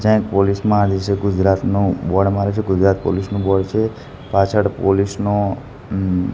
જ્યાં એક પોલીસ માં નીચે ગુજરાતનું બોર્ડ માર્યુ છે ગુજરાત પોલીસ નું બોર્ડ છે પાછળ પોલીસ નો ઉમ--